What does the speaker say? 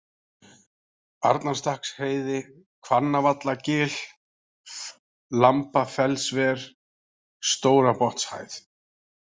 Arnarstakksheiði, Hvannavallagil, Lambafellsver, Stórabotnshæð